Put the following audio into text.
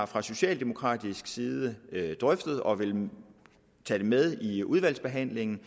fra socialdemokratisk side har drøftet og vil tage det med i udvalgsbehandlingen